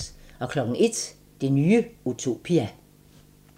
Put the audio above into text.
01:00: Det nye utopia